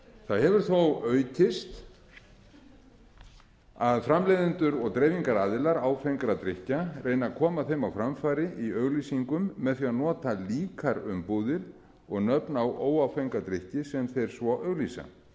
það hefur þó aukist að framleiðendur og dreifingaraðilar áfengra drykkja reyni að koma þeim á framfæri í auglýsingum með því að nota líkar umbúðir og nöfn á óáfenga drykki sem þeir svo